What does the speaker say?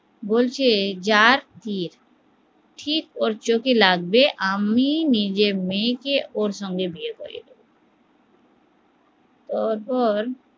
বলছে যার তীর ঠিক ওর চোখে লাগবে আমি নিজের মেয়েকে ওর সঙ্গে বিয়ে করিয়ে দেব